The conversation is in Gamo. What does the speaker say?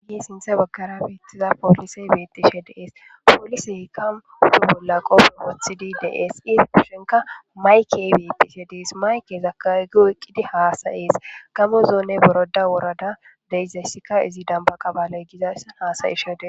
Ha sinthe baggara beettiza poolisey beettishe dees pooliseykam huhu bolla qopfe woothidi deees ifpushenka maykey beettishe dees mayke zakagi oyqqidi haasayees gamo zoone boroda worada deizayssika izi damba qabaley gizayssan haasayishede.